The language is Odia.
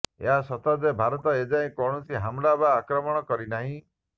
ଏହା ସତ ଯେ ଭାରତ ଏଯାଏଁ କୌଣସି ହମଲା ବା ଆକ୍ରମଣ କରିନାହିଁ